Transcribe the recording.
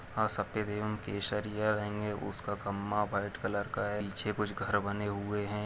सफेद एवं केसरिया रंग है उसका खम्भा व्हाइट कलर का है पीछे कुछ घर बने हुए है।